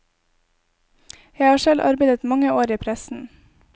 Jeg har selv arbeidet mange år i pressen.